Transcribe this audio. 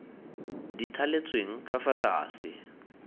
di thaletsweng ka fa tlase